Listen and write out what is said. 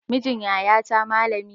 Mijin yaya ta malami ne